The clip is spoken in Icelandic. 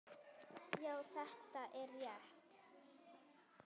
Já, þetta er rétt.